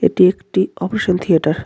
এটি একটি operation theatre .